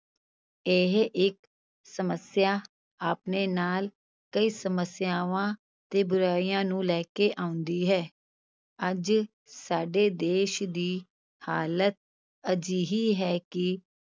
ਇਹ ਇਕ ਸਮੱਸਿਆ ਆਪਣੇ ਨਾਲ ਕਈ ਸਮੱਸਿਆਵਾਂ ਤੇ ਬੁਰਾਈਆਂ ਨੂੰ ਲੈ ਕੇ ਆਉਂਦੀ ਹੈ, ਅੱਜ ਸਾਡੇ ਦੇਸ ਦੀ ਹਾਲਤ ਅਜਿਹੀ ਹੈ ਕਿ